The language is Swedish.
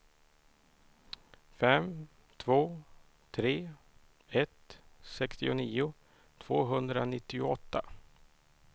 fem två tre ett sextionio tvåhundranittioåtta